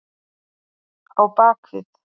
Á bak við